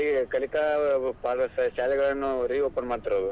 ಕಲಿ~ ಕಲಿಕಾ ಶಾಲೆಗಳನ್ನು reopen ಮಾಡ್ತಿರೋದು.